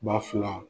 Ba fila